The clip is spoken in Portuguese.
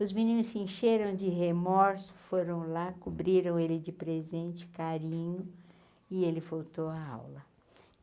Os meninos se encheram de remorso, foram lá, cobriram ele de presente carinho, e ele voltou à aula.